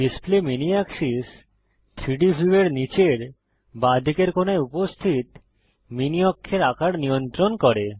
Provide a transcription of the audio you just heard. display mini axis 3ডি ভিউয়ের নীচের বাঁদিকের কোণায় উপস্থিত মিনি অক্ষের আকার নিয়ন্ত্রণ করে